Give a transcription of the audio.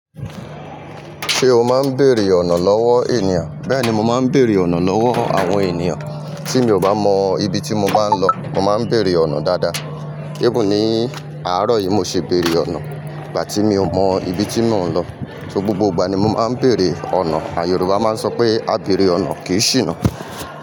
Ṣé o máa ń bèèrè ọ̀nà lọ́wọ́ ènìyàn? Bẹ́ẹ̀ni mo máa ń bèèrè ọ̀nà lọ́wọ́ àwọn ènìyàn tí mi ò bá mọ ibi tí mo bá ń lọ. Mo máa ń bèèrè ọ̀nà dáadáa. Even ni àárọ̀ yìí mo ṣi bèèrè ọ̀nà ìgbà tí mi ò mọ ibi tí mò ń lọ. So, gbogbo ìgbà ni mo máa ń bèèrè ọ̀nà, à, Yorùbá máa ń sọ pé "A bèèrè ọ̀nà kì í ṣìnà".